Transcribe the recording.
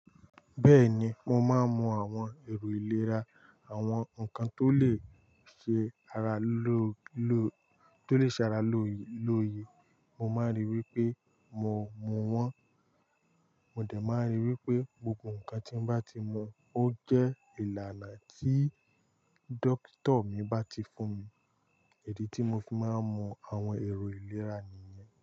Bẹ́ẹ̀ni, mo máa ń mu àwọn èrò ìlera, àwọn nǹkan tó lè ṣe ara lóye lóye. Mo máa ń rí i wí pé mo mú wọn. Mo dẹ̀ máa ń rí i wí pé gbogbo nǹkan tí n bá ti mu ó jẹ́ ìlànà tí dókítà mi bá ti fún mi. Idi tí mo fi máa ń mu àwọn èrò ìlera nìyẹn.